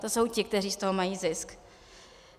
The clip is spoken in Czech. To jsou ti, kteří z toho mají zisk.